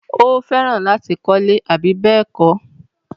Ó fẹ́ràn láti kọ́lẹ́. àbí bẹ́ẹ̀kọ́?